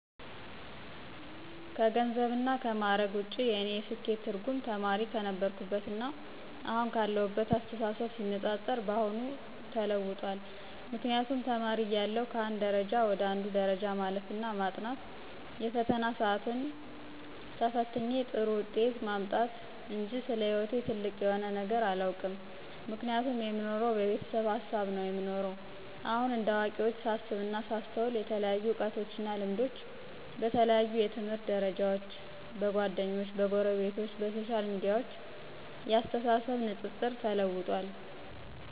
ከገንዘብና ከምዕረግ ውጭ የእኔ የስኬት ትርጉም ተማሪ ክነበርሁትና አሁን ካለሁት አስተሳሰብ ሲነፃፀር የአሁኑ ተለውጧል ምክንያቱም ተማሪ እያለሁ ከአንድ ደረጃ ወደ አንዱ ደረጃ ማለፍ እና ማጥናት የፈተና ስአትን ተፍትኝ ጥሩ ውጤት ማምጣትጅ ስለ ሕይወቴ ጥልቅ የሆነ ነገር አላውቅም ምክንያቱም የምኖረው በቤተሰብ ሀሳብ ነው የምኖረው። አሁን እንደ አዋቂዎች ሳስብና ሳስተውል የተለያዩ እውቀቶችና ልምዶች በተለያዩ የትምህርት ደርጃዎች፣ በጓደኞቸ፣ በጎረቤት፣ በሶሻል ሚዲያዎች የአስተሳሰብ ንጽጽር ተለውጧል።